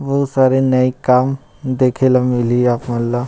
बहुत सारे नए काम देखे ला मिल ही आप मन ला--